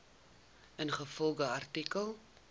ingevolge artikel